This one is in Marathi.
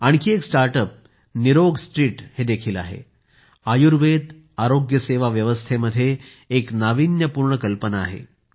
आणखी एक स्टार्ट अप निरोगस्ट्रीट देखील आहे आयुर्वेद आरोग्यसेवा व्यवस्थेत एक नाविन्यपूर्णकल्पना आहे